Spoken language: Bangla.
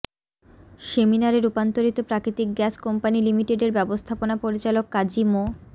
সেমিনারে রূপান্তরিত প্রাকৃতিক গ্যাস কোম্পানি লিমিটেডের ব্যবস্থাপনা পরিচালক কাজী মো